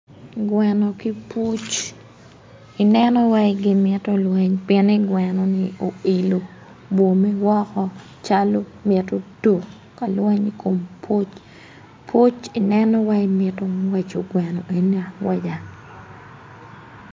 Gweno ki puc ineno wai gimito lweny pieni gwenoni oilo bwome woko calo mito tuk kalweny ikom puc puc i neno wai mito ngweco gweno enoni angweca.